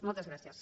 moltes gràcies